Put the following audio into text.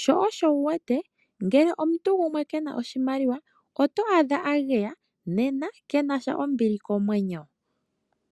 sho osho wu wete ngele omuntu gumwe ke na oshimaliwa oto adha a geya ano ke na sha ombili komwenyo.